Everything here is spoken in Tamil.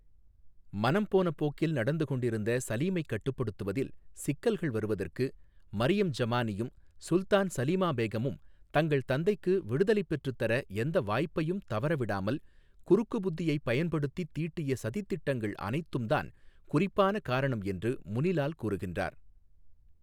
மனம்போன போக்கில் நடந்துகொண்டிருந்த சலீமைக் கட்டுப்படுத்துவதில் சிக்கல்கள் வருவதற்கு, மரியம் ஜமானியும் சுல்தான் சலீமா பேகமும் தங்கள் தந்தைக்கு விடுதலைப் பெற்றுத் தர எந்த வாய்ப்பையும் தவறவிடாமல் குறுக்கு புத்தியைப் பயன்படுத்தித் தீட்டிய சதித் திட்டங்கள் அனைத்தும்தான் குறிப்பான காரணம், என்று முனி லால் கூறுகின்றார்.